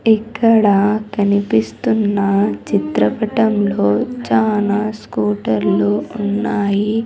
ఇక్కడ కనిపిస్తున్న చిత్రపటంలో చాలా స్కూటర్లు ఉన్నాయి.